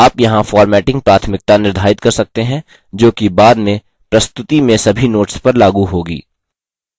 आप यहाँ formatting प्राथमिकता निर्धारित कर सकते हैं जोकि बाद में प्रस्तुति में सभी notes पर लागू होगी